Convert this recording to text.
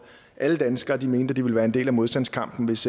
at alle danskere mente at de ville være en del af modstandskampen hvis